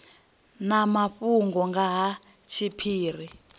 na mafhungo nga ha tshiphiri